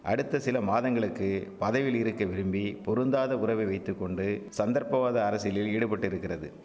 அடுத்த சிலமாதங்களுக்கு பதவியில் இருக்க விரும்பி பொருந்தாத உறவை வைத்து கொண்டு சந்தர்ப்பவாத அரசியலில் ஈடுபட்டிருக்கிறது